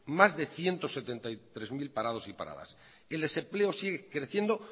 más de ciento setenta y tres mil parados y paradas el desempleo sigue creciendo